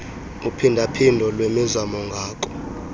uphindaphindo lwemizamo ngako